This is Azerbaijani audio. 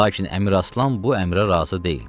Lakin Əmiraslan bu əmrə razı deyildi.